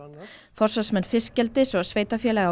forsvarsmenn fiskeldis og sveitarfélaga